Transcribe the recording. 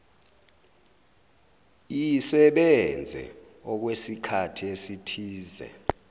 iyisebenze okwesikhathi esithize